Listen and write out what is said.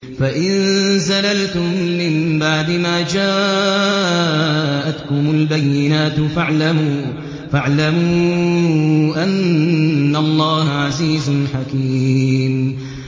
فَإِن زَلَلْتُم مِّن بَعْدِ مَا جَاءَتْكُمُ الْبَيِّنَاتُ فَاعْلَمُوا أَنَّ اللَّهَ عَزِيزٌ حَكِيمٌ